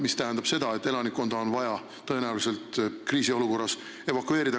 See tähendab seda, et kriisiolukorras on tõenäoliselt vaja elanikkonda evakueerida.